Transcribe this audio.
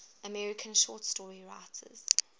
american short story writers